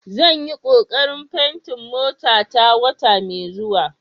Zan yi kokarin fenti motata wata mai zuwa.